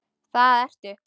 Það ertu.